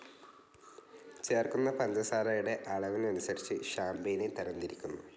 ചേർക്കുന്ന പഞ്ചസാരയുടെ അളവനുസരിച്ച് ഷാം‌പെയ്നെ തരം തിരിക്കുന്നു